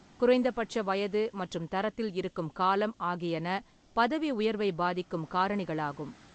குறைந்தபட்ச வயது மற்றும் தரத்தில் இருக்கும் காலம் ஆகியன பதவி உயர்வை பாதிக்கும் காரணிகளாகும்.